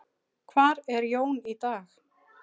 Hvar er Jón í dag?